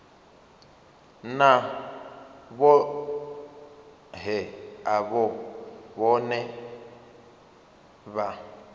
na vhohe avho vhane vha